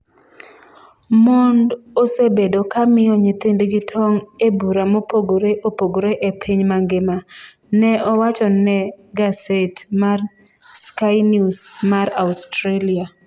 "Mond osebedo ka miyo nyithindgi tong' e bura mopogre opogre e piny mangima", ne owacho ne gaset mar Skynews mar Australia.